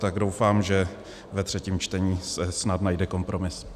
Tak doufám, že ve třetím čtení se snad najde kompromis.